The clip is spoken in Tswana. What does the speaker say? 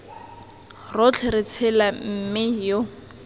rotlhe re tshela mme yo